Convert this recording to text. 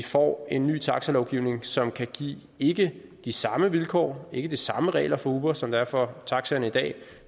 får en ny taxalovgivning som kan give ikke de samme vilkår og ikke de samme regler for uber som der er for taxaerne i dag